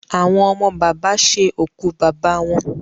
Àwọn ọmọ bàbá ṣe òkú bàbá wọn.